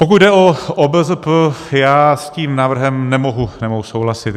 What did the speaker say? Pokud jde o OBZP, já s tím návrhem nemohu souhlasit.